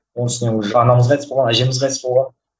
оның үстіне уже анамыз қайтыс болған әжеміз қайтыс болған